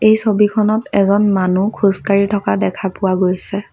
এই ছবিখনত এজন মানুহ খোজ কাঢ়ি থকা দেখা পোৱা গৈছে।